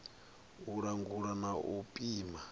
u langula na u pima